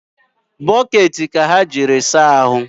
Bokeeti ka ha jiri saahụ